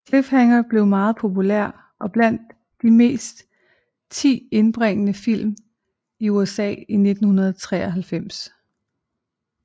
Cliffhanger blev meget populær og blandt de 10 mest indbringende film i USA i 1993